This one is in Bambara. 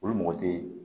Olu mɔgɔ tɛ ye